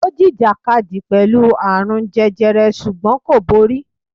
Ó jìjàkadì pẹ̀lú àrùn jẹjẹrẹ ṣùgbọ́n kò borí.